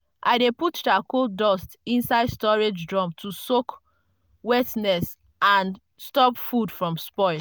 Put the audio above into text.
i dey put charcoal dust inside storage drum to soak wetness and stop food from spoil.